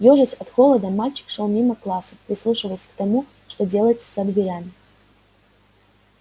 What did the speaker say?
ёжась от холода мальчик шёл мимо классов прислушиваясь к тому что делается за дверями